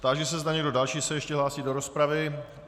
Táži se, zda někdo další se ještě hlásí do rozpravy.